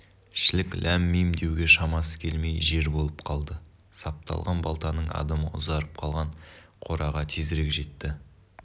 шілік ләм-мим деуге шамасы келмей жер болып қалды сапталған балтаның адымы ұзарып қалған кораға тезірек жетті